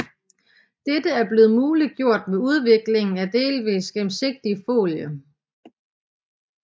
Dette er blevet muliggjort med udvikling af delvist gennemsigtig folie